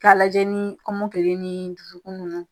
Ka lajɛ ni kɔmɔkili ni dusukun nunnu